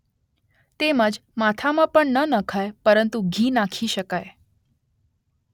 તેમજ માથામાં પણ ન નખાય પરંતુ ઘી નાખી શકાય